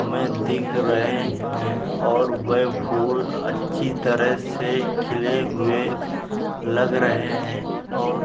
हमें दिख रहे हैं और वे फूल अच्छी तरह से खिले हुए लग रहे हैं और --